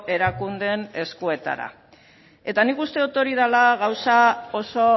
erakundeen eskuetara eta nik uste dut hori dela gauza oso